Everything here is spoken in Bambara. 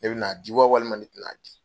Ne bɛ na di wa walima ne tɛn'a di.